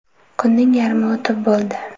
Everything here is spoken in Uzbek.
Kunning yarmi o‘tib bo‘ldi.